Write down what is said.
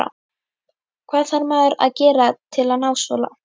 Hvað þarf maður að gera til að ná svo langt?